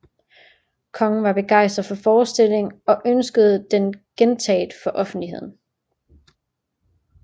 Kongen var begejstret for forestillingen og ønskede den gentaget for offentligheden